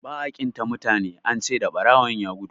ba a ƙin ta mutane an ce da barawon ya gudu